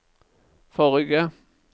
forrige